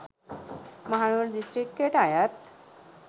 මහනුවර දිස්ත්‍රික්කයට අයත්